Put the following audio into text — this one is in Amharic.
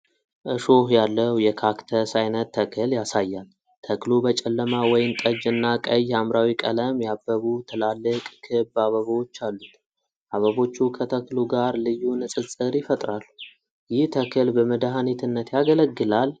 እሾህ ያለው የካክተስ ዓይነት ተክል ያሳያል። ተክሉ በጨለማ ወይንጠጅ እና ቀይ ሐምራዊ ቀለም ያበቡ ትላልቅ፣ ክብ አበቦች አሉት። አበቦቹ ከተክሉ ጋር ልዩ ንፅፅር ይፈጥራሉ። ይህ ተክል በመድኃኒትነት ያገለግላል?